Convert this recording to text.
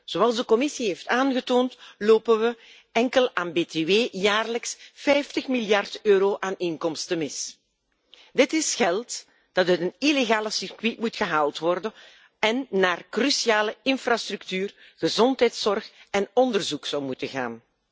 Zoals de Commissie heeft aangetoond, lopen we enkel aan btw jaarlijks 50 miljard euro aan inkomsten mis. Dit is geld dat uit het illegale circuit moet worden gehaald en naar cruciale infrastructuur, gezondheidszorg en onderzoek zou moeten gaan.